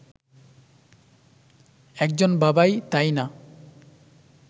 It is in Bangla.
একজন বাবা-ই, তাই না